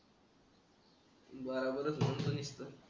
बराबरच